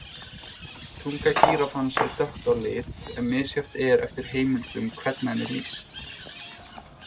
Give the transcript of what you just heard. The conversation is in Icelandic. Tunga gíraffans er dökk á lit en misjafnt er eftir heimildum hvernig henni er lýst.